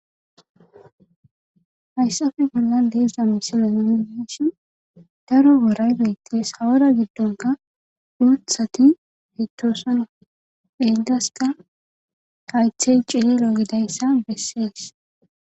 Hayssafe bolla liiza misilenidishi daro woray bettes hawara giddonka uuthati hitoosano egdaska haythey cirilo gidayssa bessees